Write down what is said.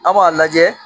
An b'a lajɛ